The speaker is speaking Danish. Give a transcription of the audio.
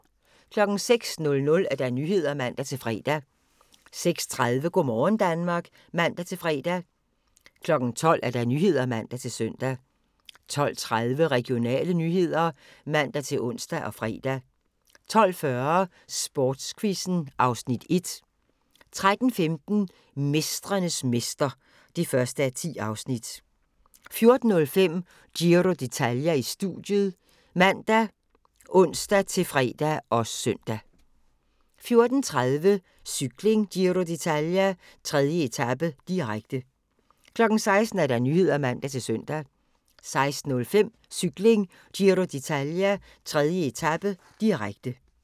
06:00: Nyhederne (man-fre) 06:30: Go' morgen Danmark (man-fre) 12:00: Nyhederne (man-søn) 12:30: Regionale nyheder (man-ons og fre) 12:40: Sportsquizzen (Afs. 1) 13:15: Mestrenes mester (1:10) 14:05: Giro d'Italia: Studiet ( man, ons-fre, -søn) 14:30: Cykling: Giro d'Italia - 3. etape, direkte 16:00: Nyhederne (man-søn) 16:05: Cykling: Giro d'Italia - 3. etape, direkte